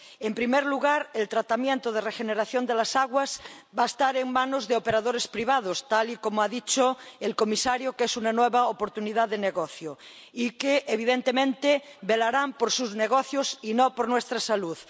En primer lugar, el tratamiento de regeneración de las aguas va a estar en manos de operadores privados —tal y como ha dicho el comisario, es una nueva oportunidad de negocio— que, evidentemente, velarán por sus negocios y no por nuestra salud.